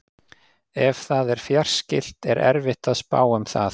Ef það er fjarskylt er erfitt að spá um það.